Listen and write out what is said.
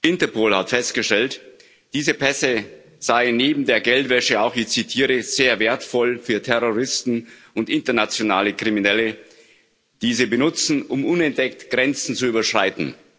Interpol hat festgestellt, diese Pässe seien neben der Geldwäsche auch ich zitiere sehr wertvoll für Terroristen und internationale Kriminelle, die sie benutzen, um unentdeckt Grenzen zu überschreiten.